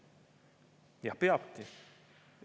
Ja peabki!